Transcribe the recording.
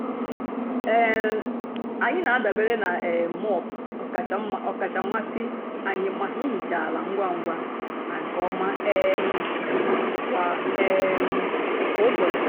um ànyị́ na-àdabèrè na um móop ọ́kàchà mmasị́ ànyị́ maka ìhìcha àla ngwá ngwá na nkè ọ́ma um kwá um kwá ụ́bọ̀chị́.